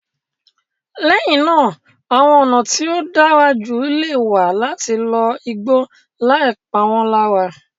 Lẹ́yìn náà, àwọn ọ̀nà tí ó dára jù lè wà láti lo igbó láì pa wọ́n lára.